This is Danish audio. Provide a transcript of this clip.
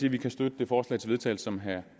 at vi kan støtte det forslag til vedtagelse som herre